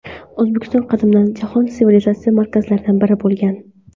O‘zbekiston qadimdan jahon sivilizatsiyasi markazlaridan biri bo‘lgan.